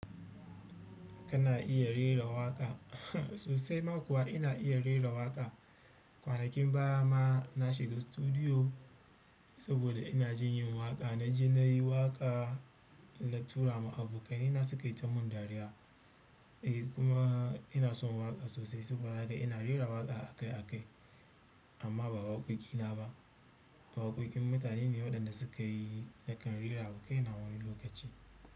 Kana iya rera waƙa? Sosai ma kuwa ina iya rera waƙa. Kwanakin baya ma na shiga studio saboda ina jin yin waƙa. Na ji na yi waƙa na tura ma abokai na su kai ta mun dariya. Eh kuma ina son waƙa sosai sabo da haka ina rera waƙa akai akai amma ba waƙoƙi na ba, waƙoƙin mutane ne waɗanda sukayi nakan rerawa kaina wani lokaci.